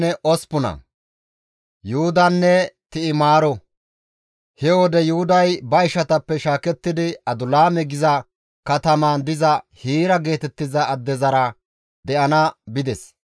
He wode Yuhuday ba ishatappe shaakettidi Adulaame geetettiza katamaan diza Hiira geetettiza addezara de7ana bides.